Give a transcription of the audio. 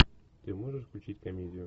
ты можешь включить комедию